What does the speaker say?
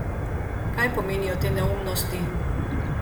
Kaj pomenijo te neumnosti?